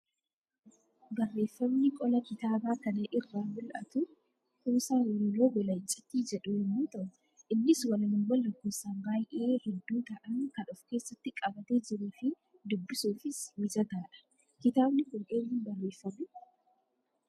Barreeffamni qola kitaabaa kana irraa mul'atu, kuusaa walaloo gola icciitii jedhu yemmuu ta'u, innis walaloowwan lakkoofsaan baayyee hedduu ta'an kan of keessatti qabatee jiruu fi dubbisuufis mijataadha. Kitaabni Kun eenyuun barreeffame?